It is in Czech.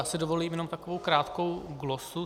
Já si dovolím jenom takovou krátkou glosu.